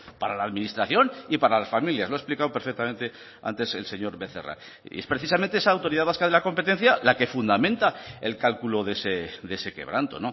para la administración y para las familias lo ha explicado perfectamente antes el señor becerra y es precisamente esa autoridad vasca de la competencia la que fundamenta el cálculo de ese quebranto